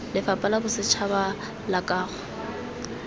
lefapha la bosetšhaba la kago